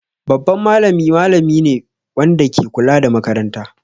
Babban malami malami ne wanda ke kula da makaranta.